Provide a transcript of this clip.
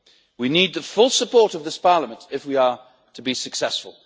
We need the full support of this Parliament if we are to be successful.